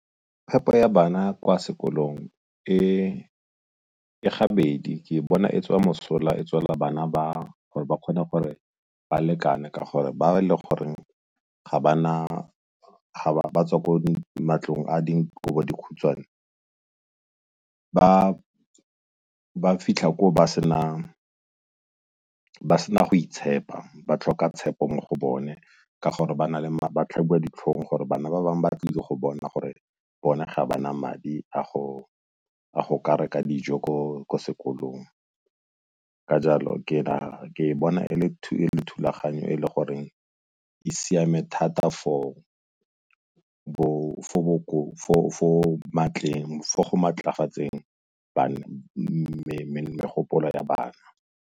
Phepo ya bana kwa sekolong e gabedi, ke bona e tswa mosola e tswela bana ba gore ba kgone gore ba lekane ka gore ba le goreng ba tswa ko matlong a dikobodikhutshwane ba fitlha ba sena go itshepa ba tlhoka tshepo mo go bone ka gore ba tlhabiwa ditlhong gore bana ba bangwe ba tlile go bona gore bone ga ba na madi a go ka reka dijo ko sekolong. Ka jalo ke bona e le thulaganyo e e le goreng e siame thata for go maatlafatseng megopolo ya bana.